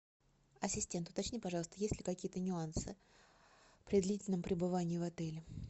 ассистент уточни пожалуйста есть ли какие то нюансы при длительном пребывании в отеле